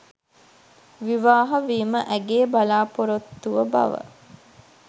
විවාහ වීම ඇගේ බලා‍පොරොත්තුව බව